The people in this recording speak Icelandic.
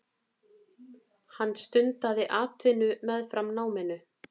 Hann stundaði atvinnu meðfram náminu.